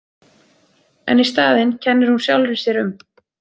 En í staðinn kennir hún sjálfri sér um.